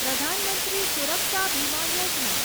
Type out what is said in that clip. Pradhan Mantri Suraksha Bima Yojana